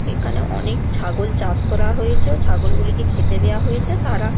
এখানে অনেক ছাগল চাষ করা হয়েছে ছাগল গুলিকে খেতে দেওয়া হয়েছে তারা--